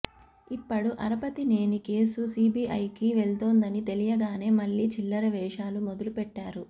ఇప్పడు యరపతినేని కేసు సిబిఐకి వెళ్తోందని తెలియగానే మళ్లీ చిల్లర వేషా లు మొదలు పెట్టాడు